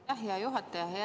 Aitäh, hea juhataja!